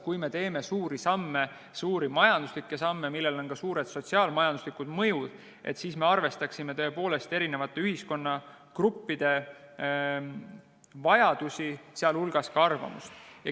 Kui me teeme suuri majanduslikke samme, millel on ka suured sotsiaal-majanduslikud mõjud, siis me peame arvestama eri ühiskonnagruppide vajadusi ja arvamust.